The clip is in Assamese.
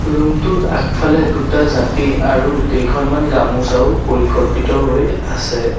ৰুম টোৰ আগফালে দুটা জাপি আৰু কেইখনমান গামোচাও পৰিকল্পিত হৈ আছে।